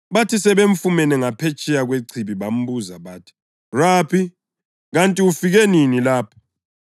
Bathi sebemfumene ngaphetsheya kwechibi bambuza bathi, “Rabi, kanti ufike nini lapha?”